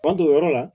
Tuma don o yɔrɔ la